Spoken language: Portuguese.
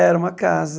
Era uma casa.